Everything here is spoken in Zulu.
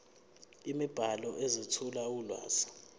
imibhalo ezethula ulwazi